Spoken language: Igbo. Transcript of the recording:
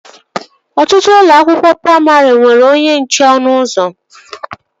Ọtụtụ ụlọ akwụkwọ praimarị nwere onye nche ọnụ ụzọ